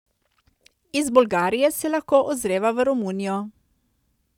Iz Bolgarije se lahko ozreva v Romunijo.